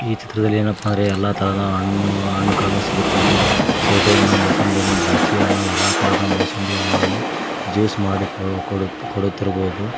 ಈ ಚಿತ್ರದಲ್ಲಿ ಏನಪ್ಪ ಹಣ್ಣು ಹಣ್ಣುಗಳನ್ನು ಸಿಗುತ್ತದೆ ಸೇಬೆ ಹಣ್ಣು ಮೋಸುಂಬಿ ಹಣ್ಣ ದ್ರಾಕ್ಷಿ ಹಣ್ಣು ಎಲ್ಲಾ ತರದ ಮೋಸುಂಬಿ ಹಣ್ಣುಗಳನ್ನು ಜ್ಯೂಸ್ ಮಾಡಿ ಕೊಡು ಕೊಡುತ್ತಿರಬಹುದು.